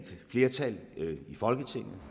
flertal i folketinget